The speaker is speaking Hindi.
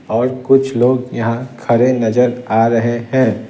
और कुछ लोग यहां खड़े नजर आ रहे हैं।